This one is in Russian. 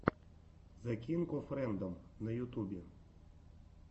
зе кинг оф рэндом на ютубе